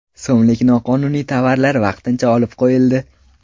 so‘mlik noqonuniy tovarlari vaqtincha olib qo‘yildi.